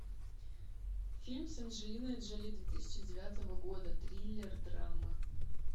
фильм с анджелиной джоли две тысячи девятого года триллер драма